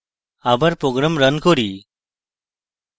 আবার program run করি